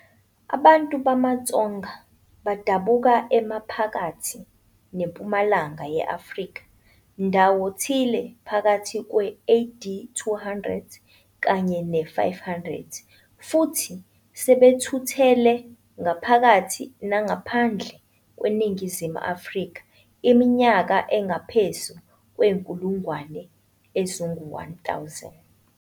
Abantu bamaTsonga badabuka eMaphakathi neMpumalanga ye-Afrika ndawo thile phakathi kwe-AD 200 kanye ne-500, futhi sebethuthele ngaphakathi nangaphandle kwaseNingizimu Afrika iminyaka engaphezu kwenkulungwane ezingu 1,000.